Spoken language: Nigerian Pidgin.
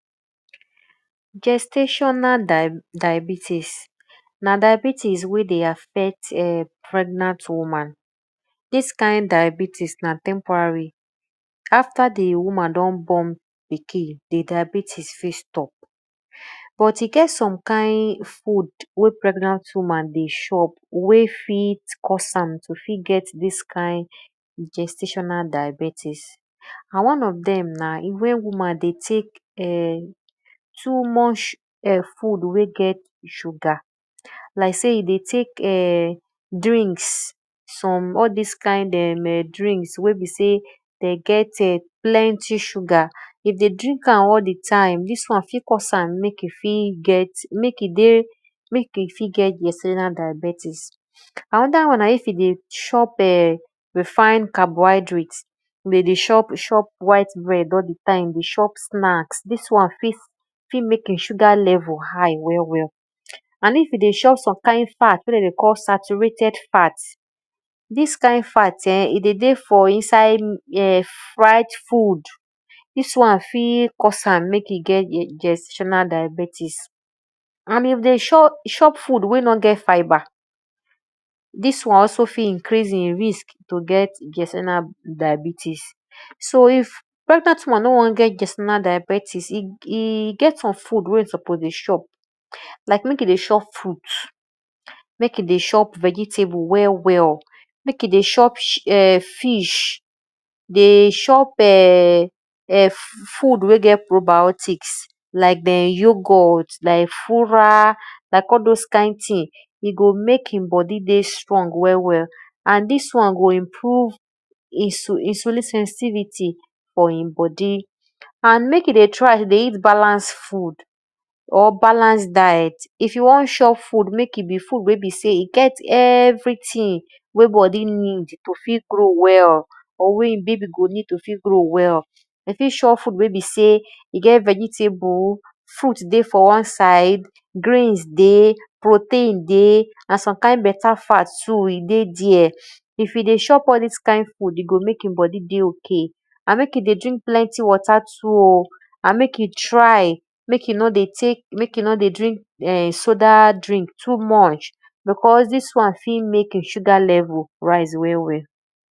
Gestational diabetics na diabetics wey dey affect pregnant women, dis kind diabetics na temporary after di woman don born pikin, di diabiitics fit stop but e get some kin wey pregnant woman dey show wey fit cause am to fit get dis kind gestational diabetics and one of dem na wen woman dey tek too much food wey get sugar, like sey e dey tek[um]drinks some all dis kind drinks wey be sey dem get[um]plenty sugar, e dey drink am all di time dis won fit mek e fit get gestational diabetics. Anoda wan na if e dey chop[um]refined carbonhydrate de chop white bread all di time dey chop snacks, dis won fit mek e sugar level high wel well. And if e dey chop some kind fat wey de dey call satutrated fat, dis kind fat e dey dey for inside food, dis won fit cause am mek e get gestational diabetics. And e dey chop food wey no get fiber, dis won fit increase di risk to cause gestational diabetics. So if pregnant woman no on get diabettics, e get some food mek e dey chop like mek e dey chop fruit, mek e dey cho vegetable well well, mek e dey chop fish, dey chop[um]food wey get probiotics, like youghot, e go mek e bodi strong well well and dis won go improve e sensivity for e bodi and mek e dey try de eat balance food, or balanced diet, if you won chop food mek e be food wey besey e get everything wey bodi need to fit grow well or wey e babi ned to fit grow well, e fit chop fruit wey be sey e get vegetable, fruit dey for wan side, grains dey, protein dey and some kind beta fat e dey there. If e dey chop all dis kind food, e go mek e bodi dey ok and mek e dey drink plenty water too, and mek e dey try mek e no dey drink soda drink too much because dis won fit mek e sugar level rise well well.